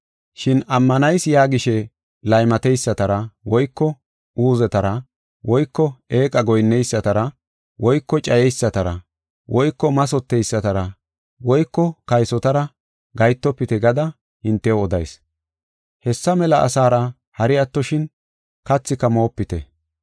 Shin ammanayis yaagishe laymateysatara woyko uuzetara woyko eeqa goyinneysatara woyko cayeysatara woyko mathoteysatara woyko kaysotara gahetofite gada hintew odayis. Hessa mela asara hari attoshin, kathika moopite.